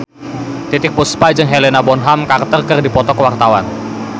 Titiek Puspa jeung Helena Bonham Carter keur dipoto ku wartawan